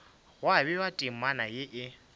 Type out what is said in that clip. gwa bewa temana ye e